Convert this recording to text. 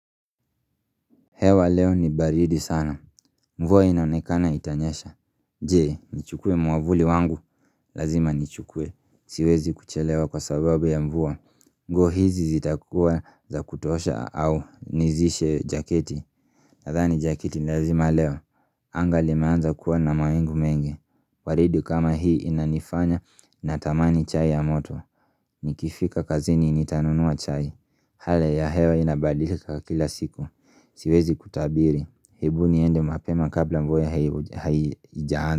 Hewa leo ni baridi sana. Mvua inaonekana itanyesha. Je, nichukue mwavuli wangu. Lazima nichukue. Siwezi kuchelewa kwa sababu ya mvua. Nguo hizi zitakuwa za kutosha au nizishe jaketi. Nadhani jakiti lazima leo, anga limeanza kuwa na mawingu mengi waridi kama hii inanifanya na tamani chai ya moto Nikifika kazini nitanunua chai Hali ya hewa inabadilika kila siku Siwezi kutabiri, ebu niende mapema kabla mvua hai haijaanza.